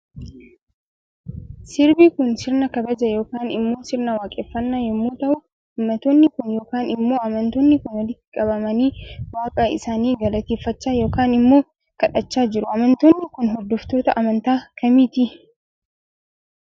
Sirbi Kun sirna kabaja yookaan immo sirna waaqeffannaa yommuu ta'u uummattoonni Kun yookaan immoo amantoonni Kun walitti qabamani waaqa isaani galateeffachaa yookaan immoo kadhachaa jiru Amantoonni Kun hordoftoota amantaa kamiiti